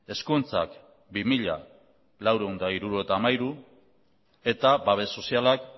hezkuntzak bi mila laurehun eta hirurogeita hamairu eta babes sozialak